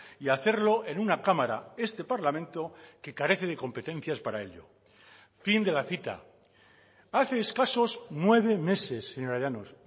y hacerlo en una cámara este parlamento que carece de competencias para ello fin de la cita hace escasos nueve meses señora llanos